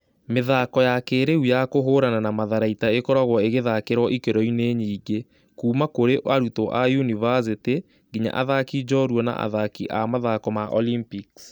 Mĩthako ya kĩĩrĩu ya kũhũũrana na matharaita ĩkoragwo igĩthakĩrwo ikĩ ro-inĩ nyingĩ, kuuma kũrĩ arutwo a yunivasĩtĩ nginya athaki njorua na athaki a mathako ma Olympics.